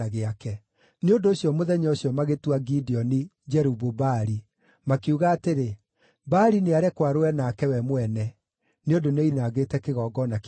Nĩ ũndũ ũcio mũthenya ũcio magĩtua Gideoni “Jerubu-Baali,” makiuga atĩrĩ, “Baali nĩarekwo arũe nake we mwene,” nĩ ũndũ nĩoinangĩte kĩgongona kĩa Baali.